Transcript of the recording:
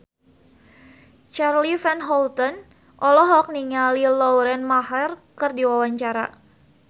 Charly Van Houten olohok ningali Lauren Maher keur diwawancara